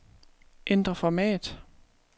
Ændr format.